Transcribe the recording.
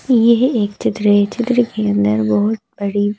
यह एक चित्र है चित्र के अंदर बहुत बड़ी--